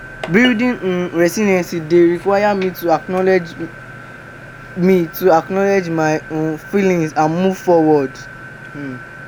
i dey learn to adapt to changes and embrace new challenges.